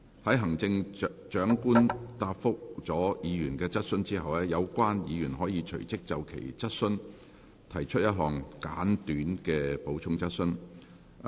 在行政長官答覆了議員的質詢後，有關議員可隨即就其質詢提出一項簡短的補充質詢。